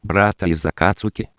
братан из окацуки